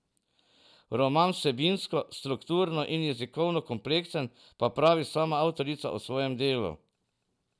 Roman vsebinsko, strukturno in jezikovno kompleksen, pa pravi sama avtorica o svojem delu.